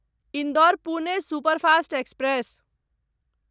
Indore Pune superfast express